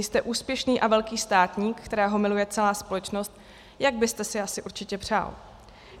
Nejste úspěšný a velký státník, kterého miluje celá společnost, jak byste si asi určitě přál.